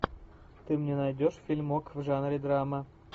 ты мне найдешь фильмок в жанре драма